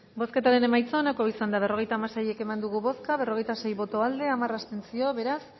bozketaren emaitza onako izan da berrogeita hamasei eman dugu bozka berrogeita sei boto aldekoa hamar abstentzio beraz